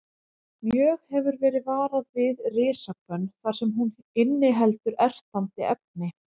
Mjög hefur verið varað við risahvönn þar sem hún inniheldur ertandi efni.